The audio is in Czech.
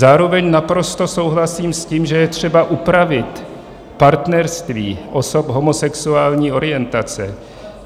Zároveň naprosto souhlasím s tím, že je třeba upravit partnerství osob homosexuální orientace.